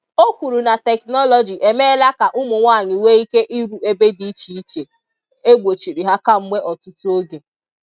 Ọ kwuru na teknọlọjị emeela ka ụmụnwanyị nwee ike iru ebe dị iche iche e gbochiri ha kemgbe ọtụtụ oge.